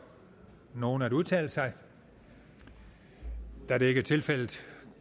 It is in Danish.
nogen at udtale sig da det ikke er tilfældet